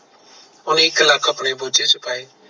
ਓਹਨੇ ਇਕ ਲੱਖ ਆਪਣੇ ਬੁਝੇ ਚ ਪਾਏ